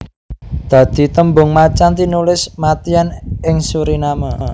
Dadi tembung macan tinulis mâtyân ing Suriname